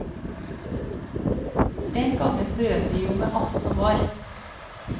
Den gangen brøt de jo med alt som var.